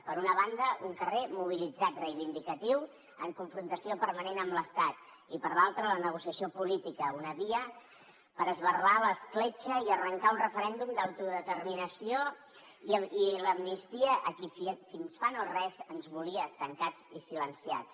per una banda un carrer mobilitzat reivindicatiu en confrontació permanent amb l’estat i per l’altra la negociació política una via per esberlar l’escletxa i arrencar un referèndum d’autodeterminació i l’amnistia a qui fins fa no res ens volia tancats i silenciats